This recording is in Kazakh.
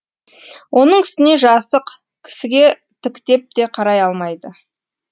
оның үстіне жасық кісіге тіктеп те қарай алмайды